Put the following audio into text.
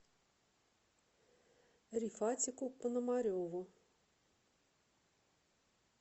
рифатику пономареву